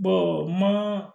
mana